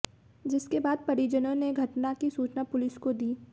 जिसके बाद परिजनों ने घटना की सूचना पुलिस को दी